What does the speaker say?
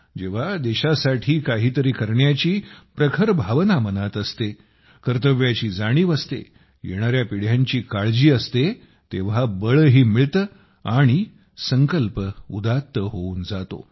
जेव्हा देशासाठी काहीतरी करण्याची प्रखर भावना मनात असते कर्तव्याची जाणीव असते येणाऱ्या पिढ्यांची काळजी असते तेव्हा बळही मिळते आणि संकल्प उदात्त होऊन जातो